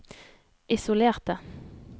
isolerte